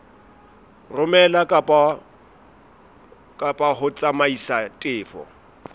romela kapa ho tsamaisa tefo